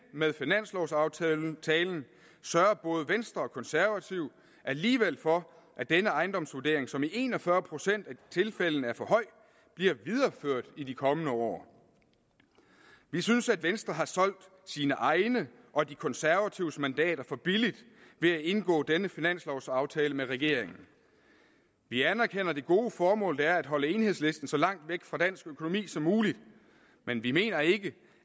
med finanslovsaftalen sørger både venstre og konservative alligevel for at denne ejendomsvurdering som i en og fyrre procent af tilfældene er for høj bliver videreført i de kommende år vi synes at venstre har solgt sine egne og de konservatives mandater for billigt ved at indgå denne finanslovsaftale med regeringen vi anerkender det gode formål det er at holde enhedslisten så langt væk fra dansk økonomi som muligt men vi mener ikke